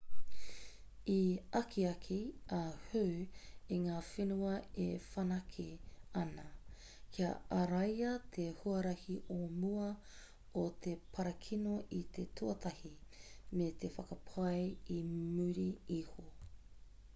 i akiaki a hu i ngā whenua e whanake ana kia āraia te huarahi o mua o te parakino i te tuatahi me te whakapai i muri iho .